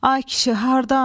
Ay kişi, hardan?